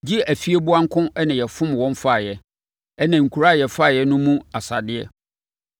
gye afieboa nko na yɛfomm wɔn faeɛ, ɛnna nkuro a yɛfaeɛ no mu asadeɛ.